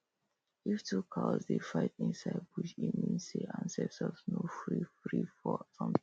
if two cows dey fight inside bush e means say ancestors no free free for